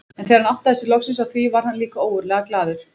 En þegar hann áttaði sig loksins á því varð hann líka ógurlega glaður.